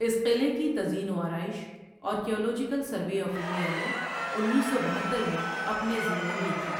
اس قلعے کی تزئین و آرائش، آرکیالوجیکل سروے آف انڈیا نے انیس سو بہتر میں اپنے ضمے لی تھی۔